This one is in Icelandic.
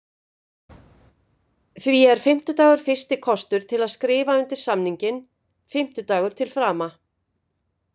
Því er fimmtudagur fyrsti kostur til að skrifa undir samninginn, fimmtudagur til frama.